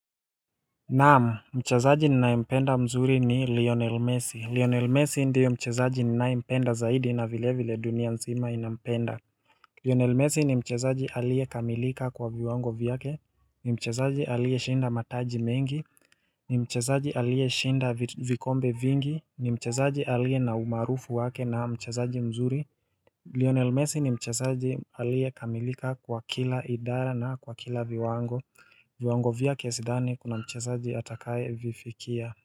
Naam, mchezaji ninayempenda mzuri ni Lionel Messi. Lionel Messi ndiye mchezaji ninayempenda zaidi na vilevile dunia mzima inampenda. Lionel Messi ni mchezaji aliyekamilika kwa viwango vyake, ni mchezaji aliyeshinda mataji mengi, ni mchezaji aliyeshinda vikombe vingi, ni mchezaji aliye na umaarufu wake na mchezaji mzuri. Lionel Messi ni mchezaji aliyekamilika kwa kila idara na kwa kila viwango, viwango vyake sidhani kuna mchezaji atakayevifikia.